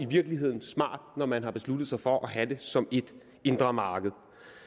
virkeligheden smart når man har besluttet sig for at have det som ét indre marked